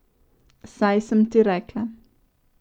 Saj sem ti rekla.